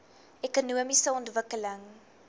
ekonomiese ontwikkeling